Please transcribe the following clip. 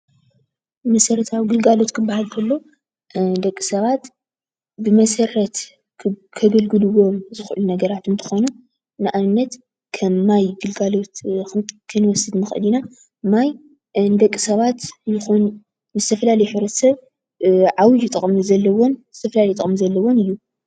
መሰረታዊ ግልጋሎት ክበሃል እንተሎ ደቂ ሰባት ብመሰረት ክግልገልዎም ዝክእሉ ነገራት እንትኮኑ ንኣብነት፦ ከም ማይ ግልጋሎት ክንወስድ ንክእል ኢና። ማይ ንደቂ ሰባት ይኩን ንዝተፈላለየ ሕብረተሰብ ዓብዩ ጥቅሚ ዘለዎ ዝተፈላለየ ጥቅሚ ዘለዎን እዩ።